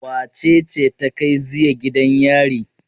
Wace ce ta kai ziya gidan yari?